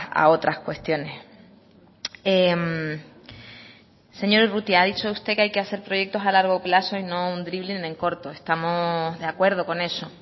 a otras cuestiones señor urrutia ha dicho usted que hay que hacer proyectos a largo plazo y no un dribling en corto estamos de acuerdo con eso